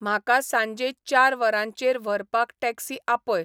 म्हाका सांजे चार वरांचेर व्हरपाक टॅक्सी आपय